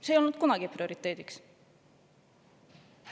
See ei ole kunagi prioriteediks olnud.